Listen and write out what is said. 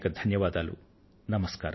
అనేకానేక ధన్యవాదాలు